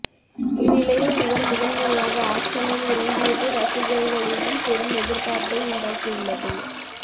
இந்நிலையில் இவர் முதன் முறையாக ஆக்ஷனில் இறங்கியது ரசிகர்களிடம் பெரும் எதிர்ப்பார்ப்பை உண்டாக்கியுள்ளது